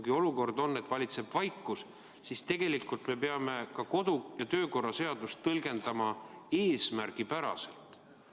Kui olukord on selline, et valitseb vaikus, siis me peame ka kodu- ja töökorra seadust tõlgendama eesmärgipäraselt.